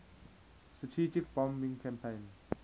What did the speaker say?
strategic bombing campaign